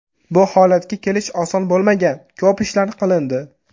Bu holatga kelish oson bo‘lmagan, ko‘p ishlar qilindi.